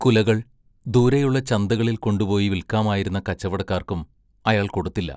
കുലകൾ ദൂരെയുള്ള ചന്തകളിൽ കൊണ്ടുപോയി വിൽക്കാമായിരുന്ന കച്ചവടക്കാർക്കും അയാൾ കൊടുത്തില്ല.